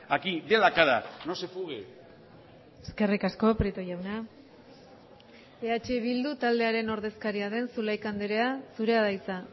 aquí dé la cara no se fugue eskerrik asko prieto jauna eh bildu taldearen ordezkaria den zulaika andrea zurea da hitza